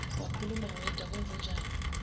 wakhuluma wedwa kwenzenjani